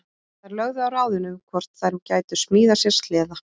Þær lögðu á ráðin um hvort þær gætu smíðað sér sleða.